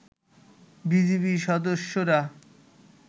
BGB সদস্যরা